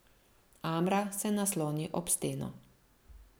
Amra se nasloni ob steno.